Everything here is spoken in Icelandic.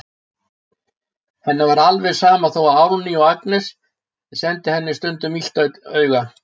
Henni er alveg sama þó að Árný og Agnes sendi henni stundum illt auga.